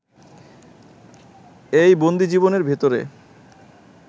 এই বন্দিজীবনের ভেতরে